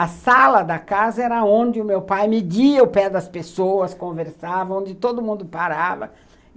A sala da casa era onde o meu pai media o pé das pessoas, conversava, onde todo mundo parava.